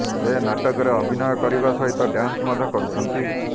ସେ ନାଟକରେ ଅଭିନୟ କରିବା ସହିତ ଡ୍ୟାନ୍ସ ମଧ୍ୟ କରୁଛନ୍ତି